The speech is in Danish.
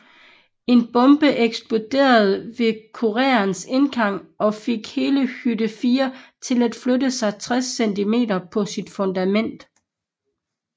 En bombe eksploderede ved kurerernes indgang og fik hele hytte 4 til at flytte sig 60 cm på sit fundament